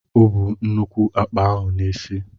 O bú nnukwu àkpà ahụ n'isi.